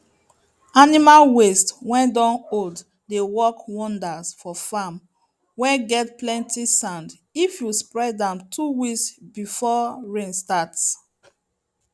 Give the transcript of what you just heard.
animal waste whey don old dey work wonders for farm whey get plenty sand if you spread am 2 weeks before rain starts